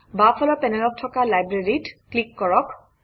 বাওঁফালৰ পেনেলত থকা library ত ক্লিক কৰক